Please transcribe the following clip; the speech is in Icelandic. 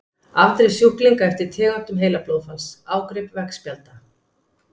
Afdrif sjúklinga eftir tegundum heilablóðfalls- Ágrip veggspjalda.